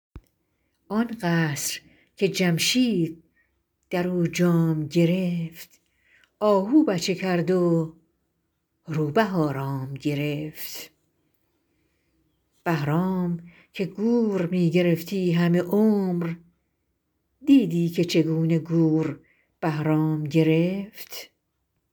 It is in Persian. آن قصر که جمشید در او جام گرفت آهو بچه کرد و روبه آرام گرفت بهرام که گور می گرفتی همه عمر دیدی که چگونه گور بهرام گرفت